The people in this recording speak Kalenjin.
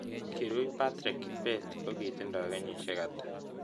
Kirui patrick kibet kotindo kenyisiek ata